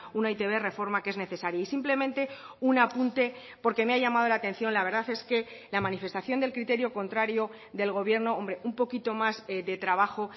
una e i te be reforma que es necesaria y simplemente un apunte porque me ha llamado la atención la verdad es que la manifestación del criterio contrario del gobierno hombre un poquito más de trabajo